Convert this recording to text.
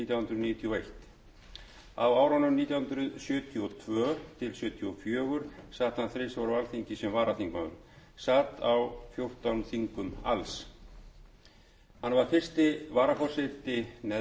og eitt á árunum nítján hundruð sjötíu og tvö til nítján hundruð sjötíu og fjögur sat hann þrisvar á alþingi sem varaþingmaður sat á fjórtán þingum alls hann var fyrsti varaforseti neðri deildar nítján hundruð sjötíu og níu til nítján hundruð